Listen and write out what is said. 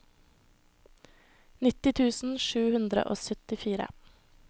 nitti tusen sju hundre og syttifire